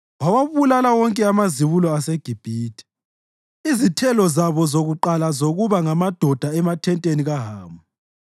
Wawabulala wonke amazibulo aseGibhithe, izithelo zabo zokuqala zokuba ngamadoda emathenteni kaHamu.